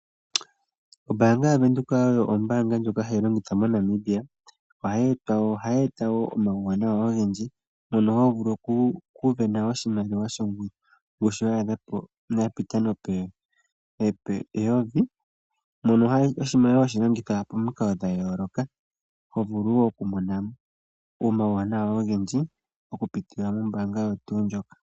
Ombaanga yaVenduka oyo ombaanga ndjoka hayi longithwa moNamibia, ohayi eta wo omawuwanawa ogendji mono hovulu okusindana oshimaliwa shongushu yapita nope yovi, mono oshimaliwa hashi longithwa pomikalo dhayooloka, hovulu wo okumona omawuwanawa ogendji okupitila mombaanga oyo tuu ndjoka.